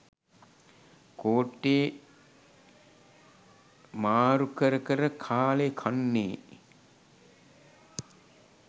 කෝට්ටේ මාරු කර කර කාලේ කන්නේ.